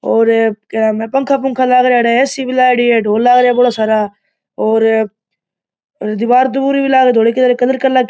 और एक पंखा पंखा लाग रिया अठे ए _सी भी लाग रही है ढोल लाग रिया बोला सारा और दिवार दुआर भी लाग धोली कलर --